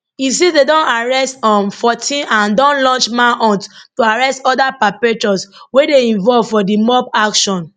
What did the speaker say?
e say dem don arrest um 14 and don launch manhunt to arrest oda perpetrators wey dey involved for di mob action